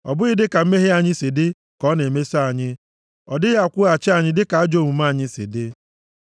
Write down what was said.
ọ bụghị dịka mmehie anyị si dị ka ọ na-emeso anyị, ọ dịghị akwụghachi anyị dịka ajọ omume anyị si dị.